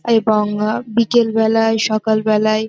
এবং অ বিকেল বেলায় সকাল বেলায় --